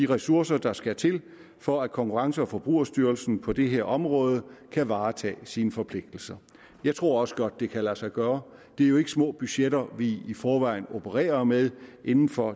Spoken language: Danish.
ressourcer der skal til for at konkurrence og forbrugerstyrelsen på det her område kan varetage sine forpligtelser jeg tror også godt det kan lade sig gøre det er jo ikke små budgetter vi i forvejen opererer med inden for